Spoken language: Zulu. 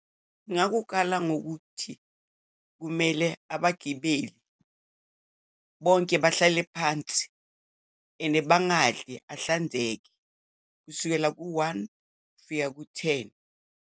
Ngakukala ngokuthi kumele abagibeli bonke bahlale phansi and bangadli, ahlanzeke kusukela ku-one kufika ku-ten.